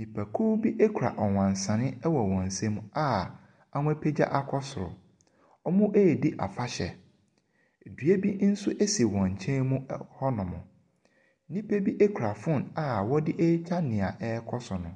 Nnipakuw bi kura ɔwansane wɔ wɔn nsam a wɔapagya akɔ soro. Wɔredi afahyɛ. Dua nso si wɔn nkyɛn mu ɛ hɔnom. Nnipa bi kura phone a wɔde retwa nea ɛrekɔ so no.